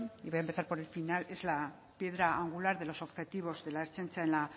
y voy a empezar por el final es la piedra angular de los objetivos de la ertzaintza en la